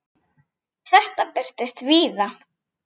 Þetta birtist víða.